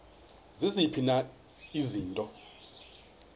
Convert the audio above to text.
ziziphi na izinto